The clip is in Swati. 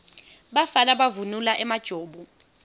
bafana bavunula emajobo